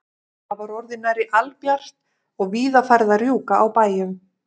Það var orðið nærri albjart og víða farið að rjúka á bæjum.